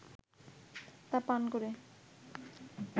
তা পান করে